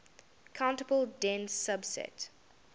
countable dense subset